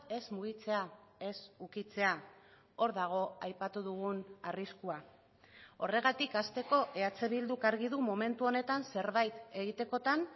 ez mugitzea ez ukitzea hor dago aipatu dugun arriskua horregatik hasteko eh bilduk argi du momentu honetan zerbait egitekotan